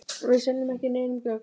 Við seljum ekki neinum gögn.